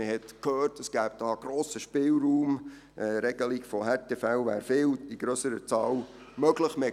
Man hörte, dass es einen grossen Spielraum gäbe, dass die Regelung von Härtefällen in viel grösserer Zahl möglich sei.